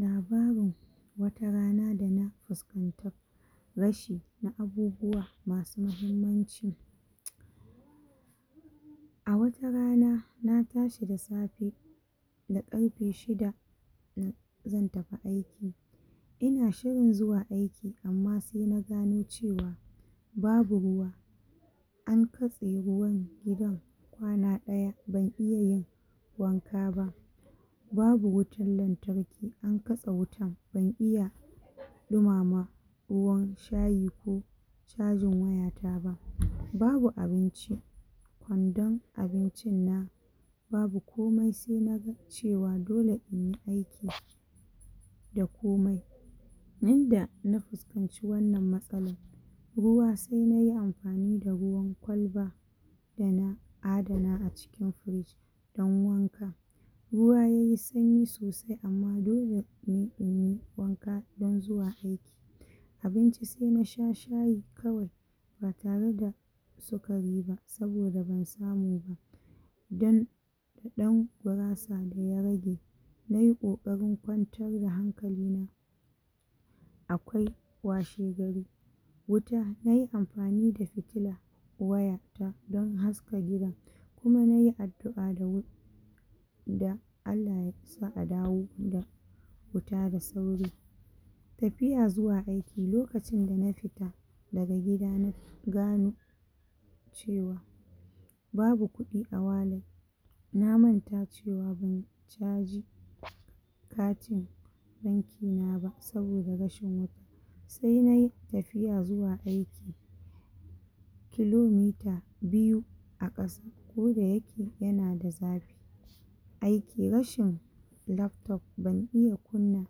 Labarin watarana dana fuskanta rashi na abubuwan masu mahimmanci a watarana na tashi da safe da ƙarfe shida zan tafi aiki ina shirin zuwa aiki amma sai na gano cewa babu ruwa an katse ruwan gidan kwana ɗaya ban iya yin wanka ba babu wutan lantarki an katse wutan ban iya ɗumama ruwan shayi ko cajin waya ta ba, babu abinci kwandon abincin na babu komai sai naga cewa dole in yi aiki da komai yanda na fuskanci wannan matsalan sai na yi amfani da ruwan kwalba dana adana a cikin fridge dan wanka ruwan yayi sanyi sosai amma dole dan inyi wanka dan zuwa aiki abinci sai na sha shayi kawai ba tare da sukari ba saboda ban samu ba dan da ɗan gurasa da ya rage nai ƙoƙarin kwantar da hankali na akwai washe gari wuta nai amfani da fitila waya ta dan haska gidan kuma nai addu'a da wuri da Allah yasa a dawo da wuta da sauri tafiya zuwa aiki, lokacin da na fita daga gida na gano cewa babu kuɗi a wallet na manta cewa ban caji katin banki na ba saboda rashin wuta sai nai tafiya zuwa aiki kilometer biyu a ƙasa koda yake yana da zafi aiki rashin laptop ban iya kunna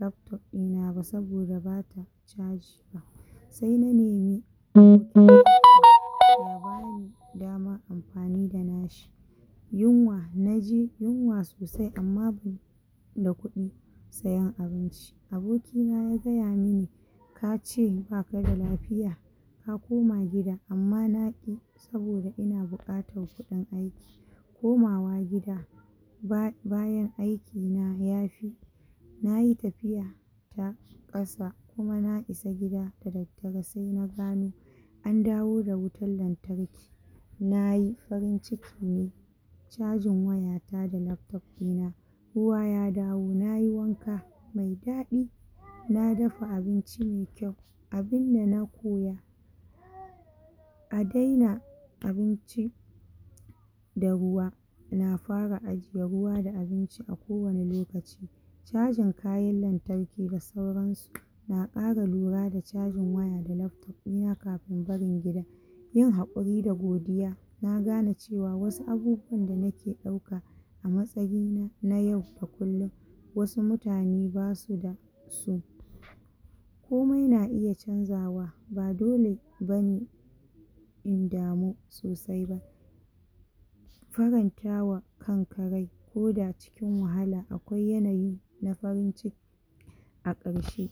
laptop ɗina ba saboda bata caji ba sai na nemi ya bani dama in yi amfani da na shi yunwa, naji yunwa sosai amma da kuɗi sayan abinci, aboki na ya gaya mini kace baka da lafiya ka koma gida amma na ƙi saboda ina buƙatan kuɗin aiki komawa gida bayan aiki na yafi na yi tafiya ta ƙasa kuma na isa gida da daddare sai na gano an dawo da wutan lantarki nayi farin ciki ne cajin waya ta da laptop ɗina ruwa ya dawo nayi wanka mai daɗi a dafa abinci mai kyau abinda na koya a daina abinci da ruwa, na fara ajiye ruwa da abinci a kowani lokaci cajin kayan lantarki da sauran su na ƙara lura da cajin waya da laptop ɗina kafin barin gidan yin haƙuri da godiya na gane cewa wasu abubuwan da nake ɗauka a matsayi na na yau da kullun wasu mutane basu da su komai na iya canzawa ba dole bane in damu sosai ba faranta wa kan ka rai koda cikin wahala akwai yanayi na farin ciki a ƙarshe.